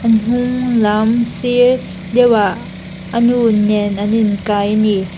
lam sir deuhah anu nen an inkai ani.